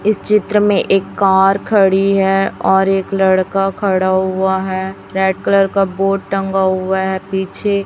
इस चित्र में एक कार खड़ी है और एक लड़का खड़ा हुआ है रेड कलर का बोर्ड टंगा हुआ है पीछे।